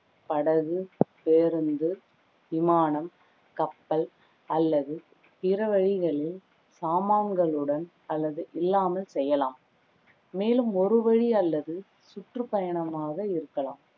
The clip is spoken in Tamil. படகு, பேருந்து, விமானம், கப்பல் அல்லது பிற வழிகளில் சாமான்களுடன் அல்லது இல்லாமல் செய்யலாம் மேலும் ஒரு வழி அல்லது சுற்று பயணமாக இருக்கலாம்